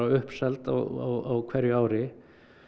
uppseld á hverju ári